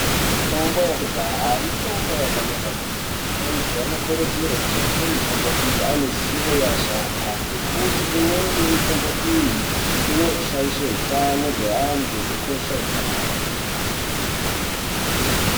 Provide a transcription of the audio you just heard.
Mitombo yekudhaya mitombo yakanaka kwemene antu anokurudzirwa kushandisa mitombo iyi ane ruzivo revasharukwa ngekuti imweni yemitombo iyi inoshaisha hutano hwevanhu ukakosha ukapararira.